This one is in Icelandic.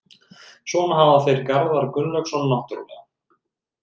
Svo hafa þeir Garðar Gunnlaugsson náttúrulega.